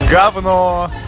говно